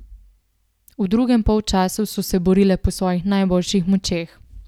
V drugem polčasu so se borile po svojih najboljših močeh.